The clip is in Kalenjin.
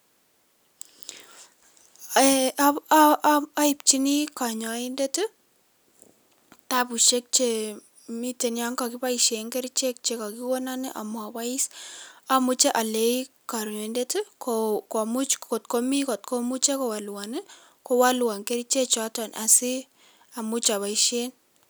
Oibchinii konyoindet kitabushek chemiten yon kokiboishen kerichek chekakikonon amobois, omuche oleei konyoindet komuch kotkomi kotkomuche kowolwon ii, kowolwon kerichechoton asii amuuch aboishen.